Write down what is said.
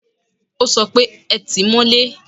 O sọ pé, Ẹ tìí mọ́lé!